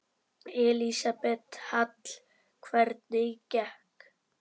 Elísabet Hall: Hvernig gekk?